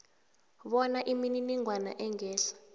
bona imininingwana engehla